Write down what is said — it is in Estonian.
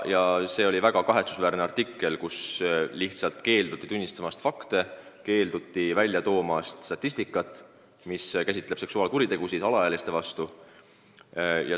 See oli väga kahetsusväärne artikkel, kus lihtsalt keelduti tunnistamast fakte, keelduti välja toomast statistikat, mis käsitleb seksuaalkuritegusid alaealiste vastu.